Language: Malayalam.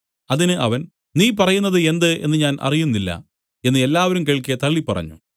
അതിന് അവൻ നീ പറയുന്നത് എന്ത് എന്ന് ഞാൻ അറിയുന്നില്ല എന്നു എല്ലാവരും കേൾക്കെ തള്ളിപ്പറഞ്ഞു